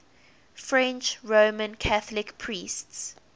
french roman catholic priests